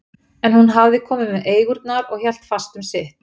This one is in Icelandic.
En hún hafði komið með eigurnar og hélt fast um sitt.